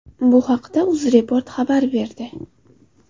Bu haqda UzReport xabar berdi .